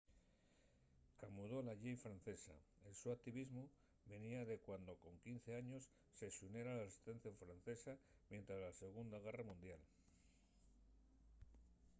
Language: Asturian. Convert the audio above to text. camudó la llei francesa el so activismu venía de cuando con 15 años se xuniera a la resistencia francesa mientres la segunda guerra mundial